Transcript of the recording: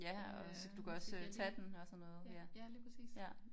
Ja og så kan du kan også øh tage den og sådan noget ja ja